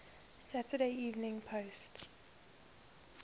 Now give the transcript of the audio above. saturday evening post